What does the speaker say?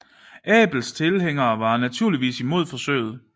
Abels tilhængere var naturligvis imod forsøget